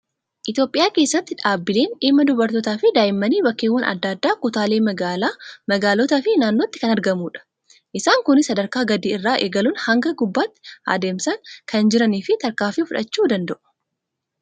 Itoophiyaa keessatti dhaabbileen dhimma dubartootaa fi daa'immanii bakkeewwan adda addaa kutaalee magaalaa, magaalotaa fi naannootti kan argamudha. Isaan Kunis sadarkaa gadii irraa eegaluun haga gubbaatti adeemsaan kan jiranii fi tarkaanfii fudhachuu danda'a.